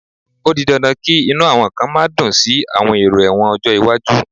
O di dandan kí inú àwọn kan má dùn sí àwọn èrò ẹ̀wọ̀n ọjọ́ iwájú